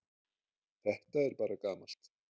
Þetta er bara gamalt